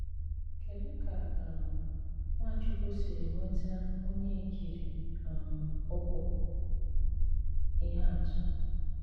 Kédú̀ ka um Nwáchùkwù sìrì nwetà ọ́nyà ị̀kìrí um ụ̀kwụ́ ìhè àtụ̀?